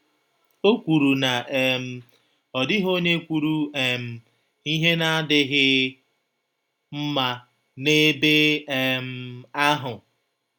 Ọ kwụrụ na um ọ dịghị ọnye kwụrụ um ihe na - adịghị mma n’ebe um ahụ.